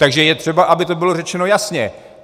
Takže je třeba, aby to bylo řečeno jasně.